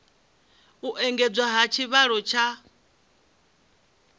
u engedzwa ha tshivhalo tsha